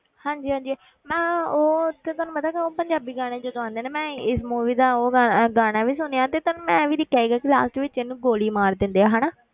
ਹਾਂਜੀ ਹਾਂਜੀ ਮੈਂ ਉਹ ਉੱਥੇ ਤੁਹਾਨੂੰ ਪਤਾ ਕਿ ਉਹ ਪੰਜਾਬੀ ਗਾਣੇ ਜਦੋਂ ਆਉਂਦੇ ਆ ਨਾ ਮੈਂ ਇਸ movie ਦਾ ਉਹ ਗਾ~ ਗਾਣਾ ਵੀ ਸੁਣਿਆ ਤੇ ਮੈਂ ਇਹ ਵੀ ਦੇਖਿਆ ਸੀਗਾ ਕਿ last ਵਿੱਚ ਇਹਨੂੰ ਗੋਲੀ ਮਾਰ ਦਿੰਦੇ ਆ ਹਨਾ,